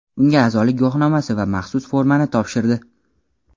unga a’zolik guvohnomasi va maxsus formani topshirdi.